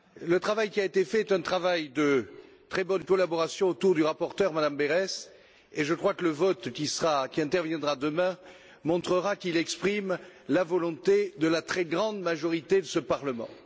Le travail qui a été fait est un travail de très bonne collaboration autour du rapporteur, Mme Berès, et je crois que le vote, qui aura lieu demain, montrera qu'il exprime la volonté de la très grande majorité de ce Parlement.